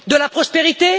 De la prospérité?